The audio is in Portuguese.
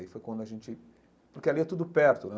Aí foi quando a gente... Porque ali é tudo perto, né?